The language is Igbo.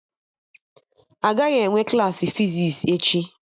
Agaghị enwe Klassị fizis echi